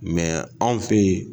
anw fɛ yen